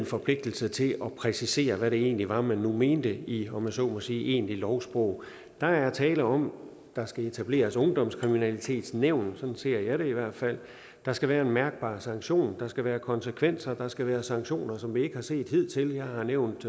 forpligtede sig til at præcisere hvad det egentlig var man mente i om jeg så må sige egentligt lovsprog der er tale om at der skal etableres ungdomskriminalitetsnævn sådan ser jeg det i hvert fald der skal være en mærkbar sanktion der skal være konsekvenser der skal være sanktioner som vi ikke har set hidtil jeg har nævnt